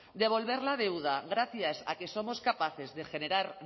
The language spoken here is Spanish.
devolver la deuda gracias a que somos capaces de generar